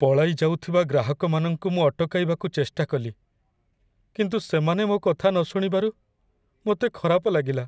ପଳାଇଯାଉଥିବା ଗ୍ରାହକମାନଙ୍କୁ ମୁଁ ଅଟକାଇବାକୁ ଚେଷ୍ଟା କଲି, କିନ୍ତୁ ସେମାନେ ମୋ କଥା ନ ଶୁଣିବାରୁ ମୋତେ ଖରାପ ଲାଗିଲା।